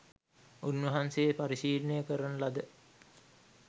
උන්වහන්සේ පරිශීලනය කරන ලද